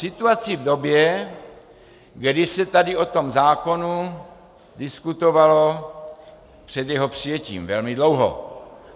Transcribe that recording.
Situaci v době, kdy se tady o tom zákonu diskutovalo před jeho přijetím velmi dlouho.